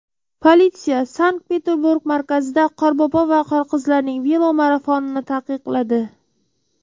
Politsiya Sankt-Peterburg markazida Qorbobo va Qorqizlarning velomarafonini taqiqladi.